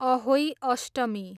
Ahoi Ashtami